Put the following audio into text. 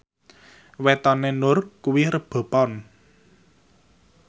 wetone Nur kuwi Rebo Pon